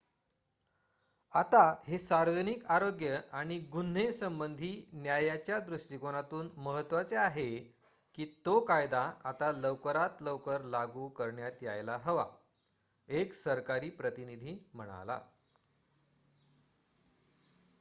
"""आता हे सार्वजनिक आरोग्य आणि गुन्हे संबधी न्यायाच्या दृष्टीकोनातून महत्वाचे आहे की तो कायदा आता लवकरात लवकर लागू करण्यात यायला हवा," एक सरकारी प्रतिनिधी म्हणाला.